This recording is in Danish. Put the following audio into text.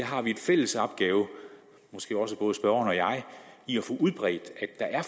har en fælles opgave måske også både spørgeren og jeg i at få udbredt at